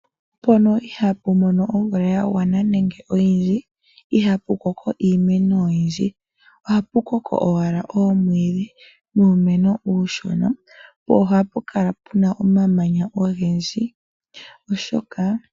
Mpono ihaa pu mono omvula ya gwana nenge oyindji iha pu koko iimeno oyindji, oha pu koko owala oomwiidhi nuumeno uushona, po oha pu kala pu na omamanya ogendji.